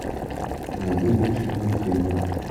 найди лучшие мультфильмы